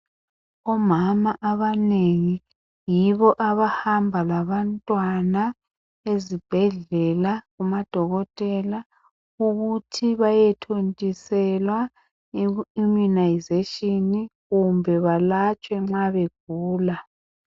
Omama abanengi yibo abahamba labantwana ezibhedlela amadokotela ukuthi baye thontiselwa immunisation kumbe balatshwe nxa begula.